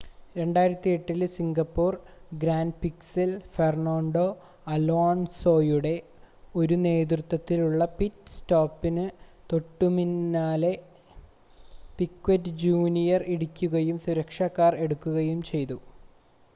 2008-ലെ Singapore ഗ്രാൻപ്രിക്സിൽ Fernando അലോൺസോയുടെ ഒരു നേരത്തെയുള്ള പിറ്റ് സ്റ്റോപ്പിന് തോട്ടുപിന്നാലെ പിക്വെറ്റ് ജൂനിയർ ഇടിക്കുകയും സുരക്ഷാ കാർ എടുക്കുകയും ചെയ്തു